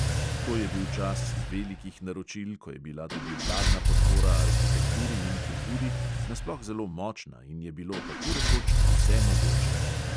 To je bil čas velikih naročil, ko je bila tudi vladna podpora arhitekturi in kulturi nasploh zelo močna in je bilo tako rekoč vse mogoče.